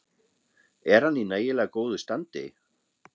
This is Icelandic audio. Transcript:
Er hann í nægilega góðu standi?